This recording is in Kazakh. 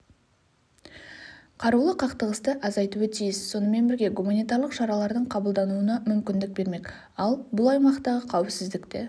қарулы қақтығысты азайтуы тиіс сонымен бірге гуманитарлық шаралардың қабылдануына мүмкіндік бермек ал бұл аймақтағы қауіпсіздікті